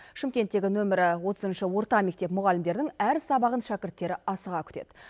шымкенттегі нөмірі отызыншы орта мектеп мұғалімдерінің әр сабағын шәкірттері асыға күтеді